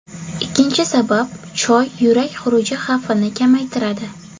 Ikkinchi sabab Choy yurak xuruji xavfini kamaytiradi.